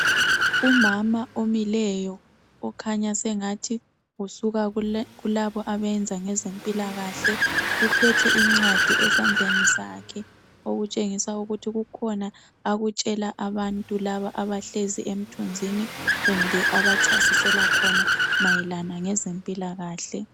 Umama omileyo okhanya sengathi ukulabo abenza ngezempilakahle uphethe ingcwadi esandleni okutshengisa ukuthi kukhona akutshela abantu laba abahlezi emthunzini kumbe abachasisela khona mayelana ngeze mpilakahle